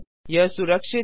यह सुरक्षित है